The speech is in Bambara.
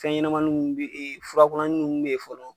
Fɛn ɲɛnamanin mun bɛ e furakunanin nun bɛ ye fɔlɔ.